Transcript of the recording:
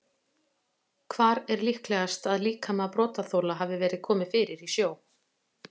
Hvar er líklegast að líkama brotaþola hafi verið komið fyrir í sjó?